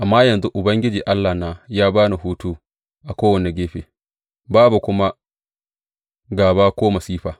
Amma yanzu Ubangiji Allahna ya ba ni hutu a kowane gefe, babu kuma gāba ko masifa.